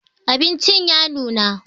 Abincin ya nuna